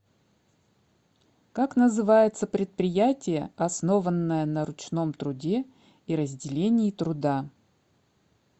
как называется предприятие основанное на ручном труде и разделении труда